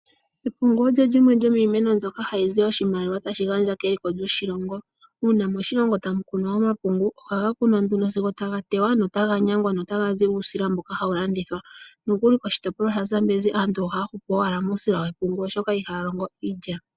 Epungu olyo lyimwe lyomiimeno mbyoka hayizi oshimaliwa tashi gandja keliko lyoshilongo, uuna moshilongo tamu kunwa omapungu ohaga kunwa nduno sigo taga tewa notaga nyangwa notaga zi uusila mboka hawu landithwa, nokuli koshitopolwa shaZambenzi aantu oha hupu owala muusila wepungu oshoka ihaya longo iilya.